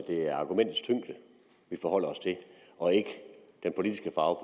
det er argumentets tyngde vi forholder os til og ikke den politiske farve